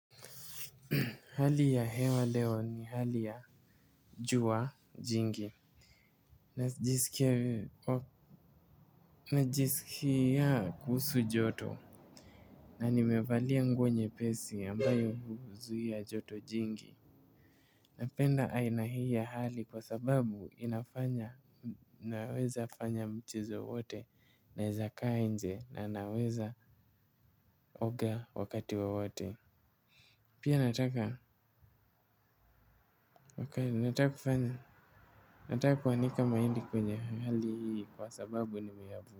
Hali ya hewa leo ni hali ya jua jingi. Najisikia kuhusu joto. Na nimevalia nguo nyepesi ambayo huzuia joto jingi. Napenda aina hii ya hali kwa sababu inafanya naweza fanya mchezo wote naeza kaa nje na naweza oga wakati wowote. Pia nataka kufanya nataka kuanika mahindi kwenye hali hii kwa sababu nimeya.